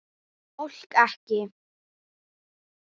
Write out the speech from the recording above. Fólk ekki.